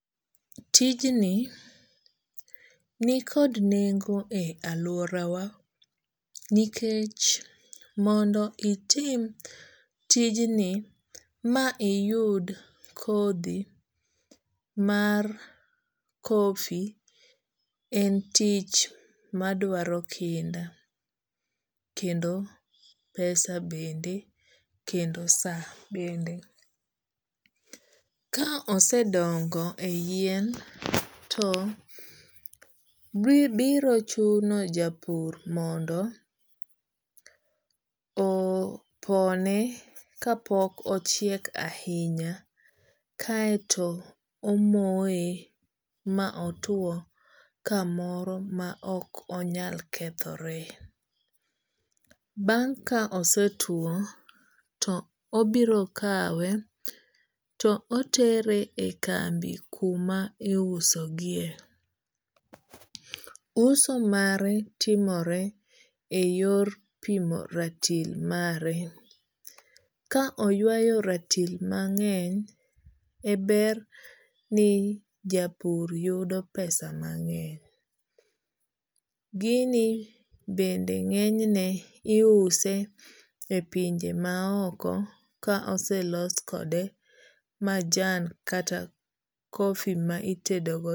Tijni ni kod nengo e aluora wa nikech mondo itim tijni ma iyud kodhi mar kofi en tich madwaro kinda kendo pesa bende kendo sa bende. Ka osedongo e yien to biro chuno japur mondo opone kapok ochiek ahinya kaeto omoye ma otuo kamoro ma ok onyal kethore. Bang' ka osetuo to obiro kawe to otere e kambi kuma iuso gie. Uso mare timore e yor pimo ratil mare. Ka oywayo ratil mang'eny e ber ni japur yudo pesa mang'eny. Gini bende ng'eny ne iuse e pinje ma oko ka oselos kode majan kata kofi ma itedo go.